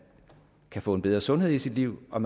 kan få en bedre sundhed i sit liv og